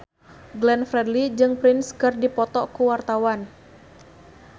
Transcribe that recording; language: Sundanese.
Glenn Fredly jeung Prince keur dipoto ku wartawan